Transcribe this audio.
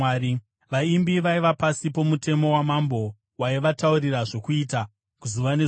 Vaimbi vaiva pasi pomutemo wamambo, waivataurira zvokuita zuva nezuva.